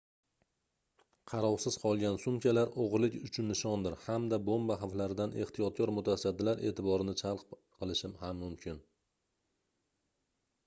qarovsiz qolgan sumkalar oʻgʻirlik uchun nishondir hamda bomba xavflaridan ehtiyotkor mutasaddilar eʼtiborini jalb qilishi ham mumkin